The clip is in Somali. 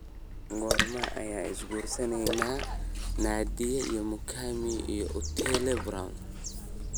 Goorma ayey is guursadeen Nadia Mukami iyo Otile Brown?